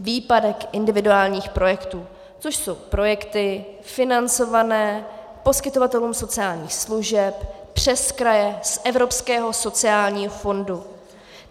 Výpadek individuálních projektů, což jsou projekty financované poskytovatelům sociálních služeb přes kraje z Evropského sociálního fondu.